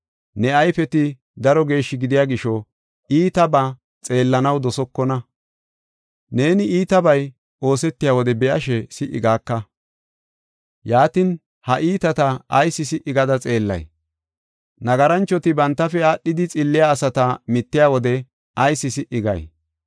Ne ayfeti daro geeshshi gidiya gisho, iitabaa xeellanaw dosokona; neeni iitabay oosetiya wode be7ashe si77i gaaka. Yaatin, ha iitata ayis si77i gada xeellay? Nagaranchoti bantafe aadhidi xilliya asata mittiya wode ayis si77i gay?